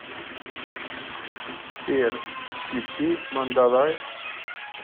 сбер включи мандалай